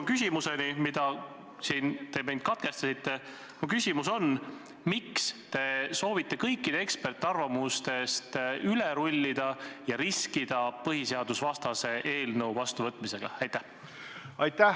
Mu küsimus, mille esitamist te katkestasite, on see: miks te soovite kõikidest eksperdiarvamustest üle rullida ja riskida põhiseadusvastase eelnõu vastuvõtmisega?